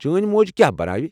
چٲنۍ موج کیٚا بناوِ ؟